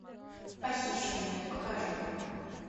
похищенная покажи